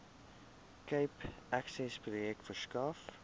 cape accessprojek verskaf